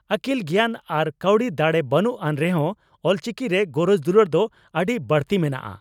ᱟᱹᱠᱤᱞ ᱜᱮᱭᱟᱱ ᱟᱨ ᱠᱟᱹᱣᱰᱤ ᱫᱟᱲᱮ ᱵᱟᱹᱱᱩᱜ ᱟᱱ ᱨᱮᱦᱚᱸ ᱚᱞᱪᱤᱠᱤ ᱨᱮ ᱜᱚᱨᱚᱡᱽ ᱫᱩᱞᱟᱹᱲ ᱫᱚ ᱟᱹᱰᱤ ᱵᱟᱹᱲᱛᱤ ᱢᱮᱱᱟᱜᱼᱟ ᱾